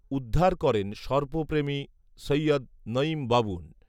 উদ্ধার করেন সর্পপ্রেমী সৈয়দ নৈঈম বাবুন